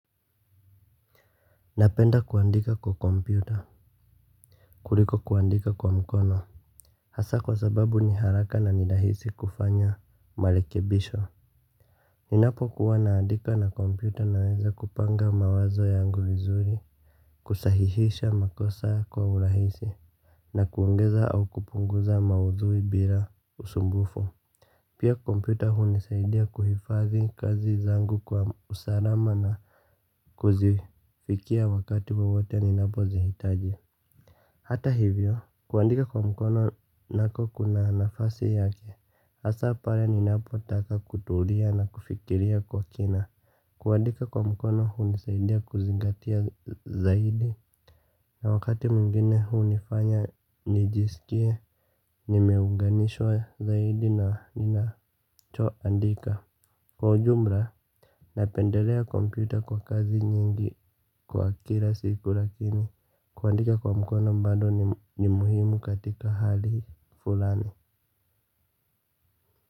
Napenda kuandika kwa kompyuta kuliko kuandika kwa mkono. Hasa kwa sababu ni haraka na nirahisi kufanya marekebisho. Ninapo kuwana andika na kompyuta naweza kupanga mawazo yangu vizuri kusahihisha makosa kwa urahisi. Na kuongeza au kupunguza maudhui bila usumbufu. Pia kompyuta huu nisaidia kuhifadhi kazi zangu kwa usalama na kuzifikia wakati wowote ninapozihitaji. Hata hivyo, kuandika kwa mkono nako kuna nafasi yake, hasa pale ni napo taka kutulia na kufikiria kwa kina. Kuandika kwa mkono hunisaidia kuzingatia zaidi, na wakati mwingine hunifanya nijisikie, nimeunganishwa zaidi na ninacho andika. Kwa ujumla, napendelea kompyta kwa kazi nyingi kwa kila siku lakini kuandika kwa mkona bado ni muhimu katika hali fulani.